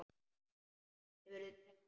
Hefur þig dreymt?